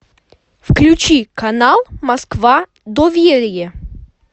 включи канал москва доверие